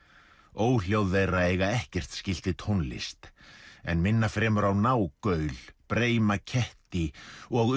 óhljóð þeirra eiga ekkert skylt við tónlist en minna fremur á nágaul breima ketti og